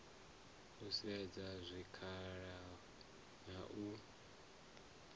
u sedza zwikhala na u